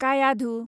Kayadhu